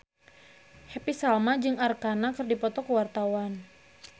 Happy Salma jeung Arkarna keur dipoto ku wartawan